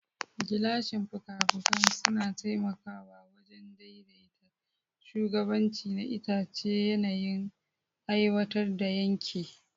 Gilashin fuka-fukan suna taimakawa wajen daidaita shugabanci na itace yayin aiwatar da yanke.